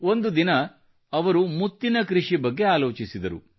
ಒಂದು ದಿನ ಻ಅವರು ಮುತ್ತಿನ ಕೃಷಿ ಬಗ್ಗೆ ಆಲೋಚಿಸಿದರು